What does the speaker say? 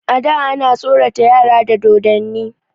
A da ana tsorata yara da dodonni.